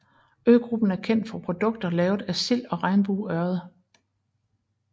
Øgruppen er kendt for produkter lavet af sild og regnbueørred